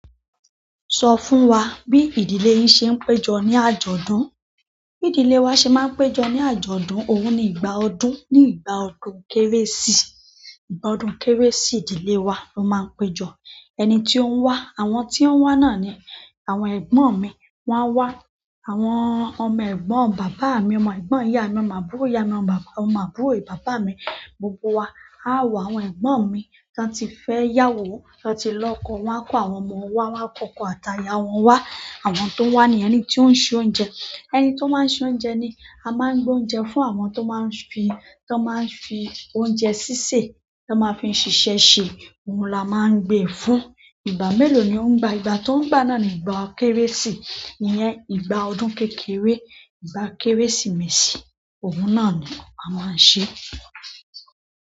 Sọ fún wa bí ìdílé yín ṣe ń péjọ ní àjọ̀dún? Bi ìdílé wa se maa n pejo ni ajọdun òun ni ìgbà ọdún ni ìgbà ọdún kérésì. Ìgbà ọdún kérésì ìdílé wa ló máa ń péjọ. Ẹni tí ó ń wá, àwọn tí ó ń wá náà ni àwọn ẹ̀gbọ́n mi wọ́n á wá, àwọn ọmọ ẹ̀gbọ́n bàbá mi, ọmọ ẹ̀gbọ́n ìyá mi, ọmọ àbúrò ìyá mi, ọmọ àbúrò bàbá mi, gbogbo wa. A á wo àwọn ẹ̀gbọ́n mi tó ti fẹ́ yàwó, tó ti lọ́kọ, wọ́n á kó àwọn ọmọ wá, wọ́n á kọkọ ata ìyá wọn wá. Àwọn tó ń wá ni ẹni tí ó ń se oúnjẹ. Ẹni tó máa ń se oúnjẹ ni a máa ń gbé oúnjẹ fún àwọn tó máa ń fi, tó máa ń fi oúnjẹ sísè, tó máa ń fi ṣiṣẹ́ ṣe, òun la máa ń gbé e fún. Ìgbà mélòó ni ó ń gbà? Ìgbà tí ó ń gbà náà ni ìgbà kérésì. Iyẹn ìgbà ọdún kékeré. Ìgbà kérésìmesì, òun náà ni a máa ń ṣe.